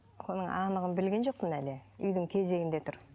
оның анағын білген жоқпын әлі үйдің кезегінде тұр